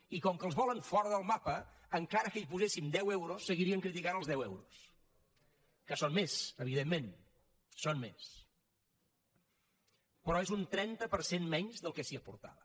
i com que els volen fora del mapa encara que hi poséssim deu euros seguirien criticant els deu euros que són més evidentment són més però és un trenta per cent menys del que s’hi aportava